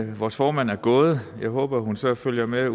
vores formand er gået jeg håber hun så følger med